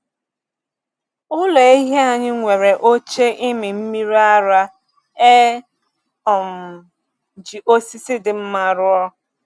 Ụlọ ehi anyị nwere oche ịmị mmiri ara e um ji osisi dị mma rụọ.